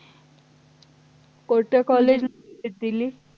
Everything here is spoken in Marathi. कोणत्या college ला visit दिली